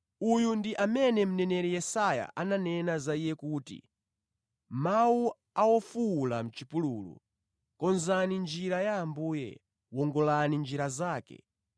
Uyu ndi amene mneneri Yesaya ananena za iye kuti, “Mawu a wofuwula mʼchipululu, ‘Konzani njira ya Ambuye, wongolani njira zake.’ ”